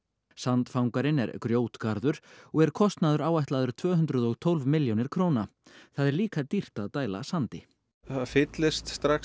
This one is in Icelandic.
sandfangarinn er grjótgarður og er kostnaður áætlaður tvö hundruð og tólf milljónir króna það er líka dýrt að dæla sandi það fyllast strax